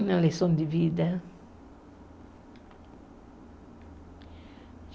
Uma lição de vida?